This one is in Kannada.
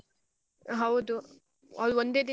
ಹೌದು, ಅಹ್ ಒಂದೇ ದಿನ.